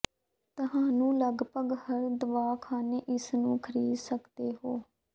ਤੁਹਾਨੂੰ ਲਗਭਗ ਹਰ ਦਵਾਖ਼ਾਨੇ ਇਸ ਨੂੰ ਖਰੀਦ ਸਕਦੇ ਹੋ